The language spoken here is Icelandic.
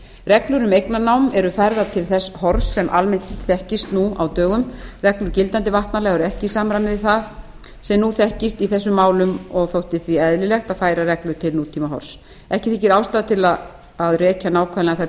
reglur um eignarnám eru færðar til þess horfs sem almennt þekkist nú á dögum reglur gildandi vatnalaga eru ekki í samræmi við það sem nú þekkist í þessum málum og þótti því eðlilegt að færa reglur til nútímahorfs ekki þykir ástæða til að rekja nákvæmlega þær